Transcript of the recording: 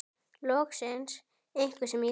Loksins einhver sem ég þekki.